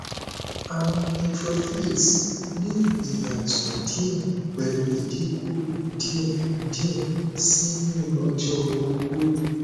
awọn neutrophils ni iyatọ diẹ pẹlu idinku diẹ diẹ sii ni ọjọ ogbo